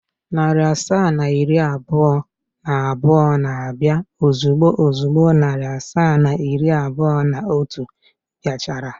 Narị asaa na iri abụọ na abụọ na-abịa ozugbo ozugbo narị asaa na iri abụọ na otu bịa chara.